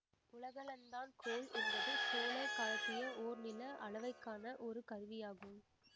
உலகளந்தான் கோல் என்பது சோழர் காலத்திய ஓர் நில அளவைக்கான ஒரு கருவியாகும்